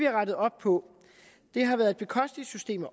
rettet op på det har været et bekosteligt system at